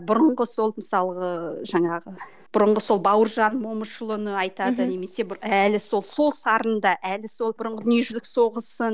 бұрынғы сол мысалғы жаңағы бұрынғы сол бауыржан момышұлыны айтады немесе бір әлі сол сол сарында әлі сол бұрынғы дүниежүзілік соғысын